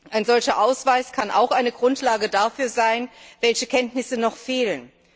Ein solcher Ausweis kann auch eine Grundlage dafür sein, welche Kenntnisse noch fehlen.